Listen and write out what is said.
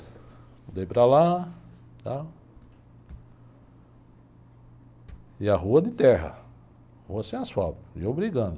Mudei para lá, tal, e a rua de terra, rua sem asfalto, e eu brigando.